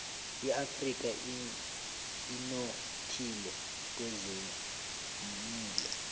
iafrika inothile kwezelimo